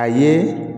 A ye